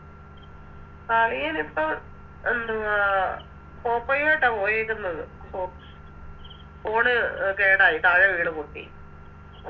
അളിയനിപ്പോ എന്തുവാ പോപ്പോയുവായിട്ട പോയേക്കുന്നത് ഫോ Phone കേടായി താഴെ വീണ് പൊട്ടി